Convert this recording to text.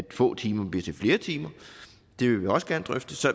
at få timer bliver til flere timer det vil vi også gerne drøfte så